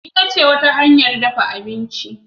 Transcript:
itace wata hanyar dafa abinci